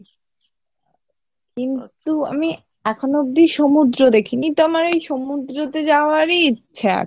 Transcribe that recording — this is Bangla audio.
কিন্তু আমি এখনো অব্দি সমুদ্র দেখি নি তো আমার ওই সমুদ্রতে যাওয়ারই ইচ্ছা আছে।